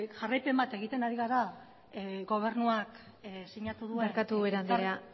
jarraipen bat egiten ari gara gobernuak sinatu duen barkatu ubera andrea